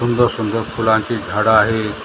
सुंदर सुंदर फुलांची झाडं आहेत त्यांना पाणी--